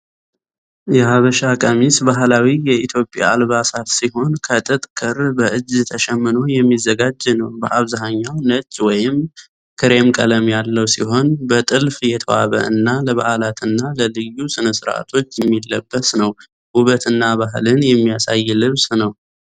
የሐበሻ ቀሚስ ባህላዊ የኢትዮጵያ አልባሳት ሲሆን፣ ከጥጥ ክር በእጅ ተሸምኖ የሚዘጋጅ ነው። በአብዛኛው ነጭ ወይም ክሬም ቀለም ያለው ሲሆን፣ በጥልፍ የተዋበ እና ለበዓላትና ለልዩ ሥነ-ሥርዓቶች የሚለበስ ነው። ውበትና ባህልን የሚያሳይ ልብስ ነው።